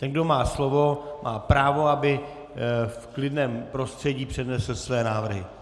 Ten, kdo má slovo, má právo, aby v klidném prostředí přednesl své návrhy.